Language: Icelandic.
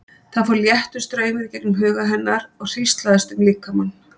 Það fór léttur straumur í gegnum huga hennar og hríslaðist um líkamann.